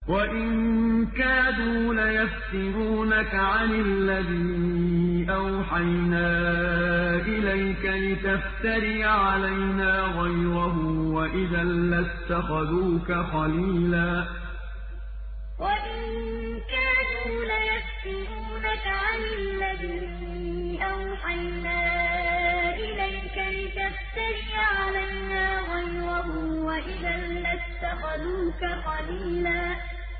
وَإِن كَادُوا لَيَفْتِنُونَكَ عَنِ الَّذِي أَوْحَيْنَا إِلَيْكَ لِتَفْتَرِيَ عَلَيْنَا غَيْرَهُ ۖ وَإِذًا لَّاتَّخَذُوكَ خَلِيلًا وَإِن كَادُوا لَيَفْتِنُونَكَ عَنِ الَّذِي أَوْحَيْنَا إِلَيْكَ لِتَفْتَرِيَ عَلَيْنَا غَيْرَهُ ۖ وَإِذًا لَّاتَّخَذُوكَ خَلِيلًا